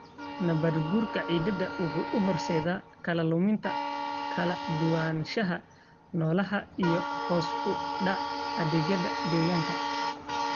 Nabaadguurka ciidda wuxuu u horseedi karaa luminta kala duwanaanshaha noolaha iyo hoos u dhaca adeegyada deegaanka.